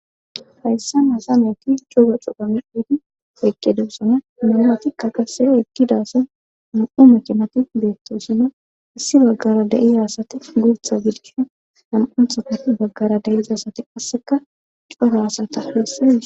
hayssa nasameyti cura cuphamidudi ekke debusona mumatikka qasse ekkidasa mam7u macinati beettosino issi baggara de7iza asati gurtha biidkisha han7unthata baggara deyiza sati qasseka cora asata heesse